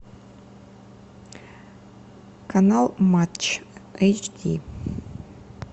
канал матч эйч ди